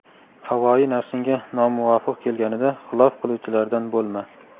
havoyi nafsingga nomuvofiq kelganida xilof qiluvchilardan bo‘lma.